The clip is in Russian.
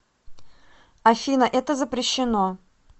афина это запрещено